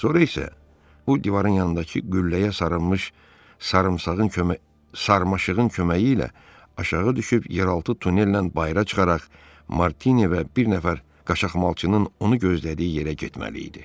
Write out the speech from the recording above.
Sonra isə o divarın yanındakı qülləyə sarınmış sarmaşığın köməyi ilə aşağı düşüb, yeraltı tunellə bayıra çıxaraq Martine və bir nəfər qaçaqmalçının onu gözlədiyi yerə getməli idi.